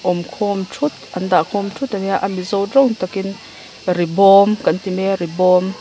awmkhawm thut an dahkhawm thut ania a mizo tawng takin ri bawm kan ti maia ri bawm.